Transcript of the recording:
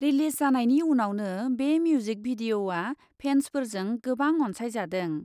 Release जानायनि उनावनो बे मिउजिक भिडिअ'आ फेन्सफोरजों गोबां अन्सायजादों।